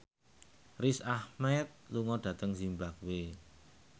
Riz Ahmed lunga dhateng zimbabwe